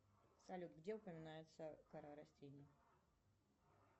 салют где упоминается кора растений